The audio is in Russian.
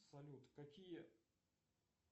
салют какие